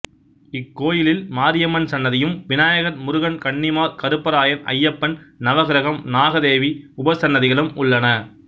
இக்கோயிலில் மாரியம்மன் சன்னதியும் விநாயகர் முருகன் கன்னிமார் கருப்பராயன் ஐயப்பன் நவகிரகம் நாகதேவி உபசன்னதிகளும் உள்ளன